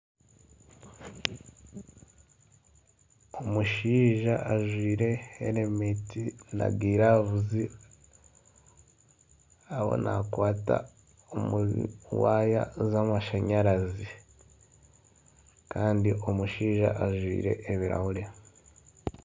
Omushaija ajwaire helementi na giravuzi ariyo nakwata omu waaya za amashanyarazi kandi omushaija ajwaire ebirahuuri.